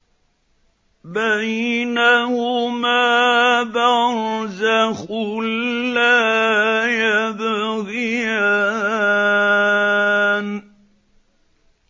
بَيْنَهُمَا بَرْزَخٌ لَّا يَبْغِيَانِ